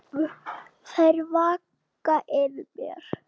Þær vaka yfir mér.